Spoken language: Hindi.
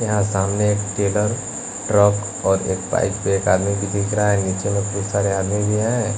यहाँ सामने एक टेकर ट्रक और एक बाइक एक आदमी भी दिख रहा है नीचे में बहुत सारे आदमी भी हैं।